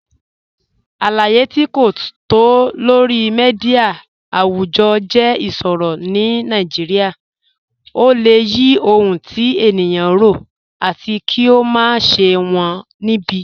Aláyé̀ tí kò tó lọ̀rí míḍíà awùjọ́ jẹ́ ìṣòrọ̀ ní Nàìjíríà. Ọ̀ lẹ̀ yí ọhun tí ènìyàn rọ̀, àtì kí ó má ṣẹ̀ wọn níbi